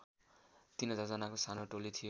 ३००० जानाको सानो टोली थियो